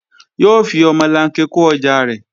Yóò fi omolanke kó ọjà rẹ̀